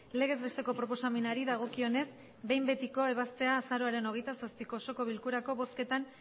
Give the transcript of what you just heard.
legez besteko proposamenari dagokionez behin betiko ebaztea azaroaren hogeita zazpiko osoko bilkurako bozketan